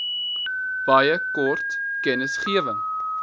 baie kort kennisgewing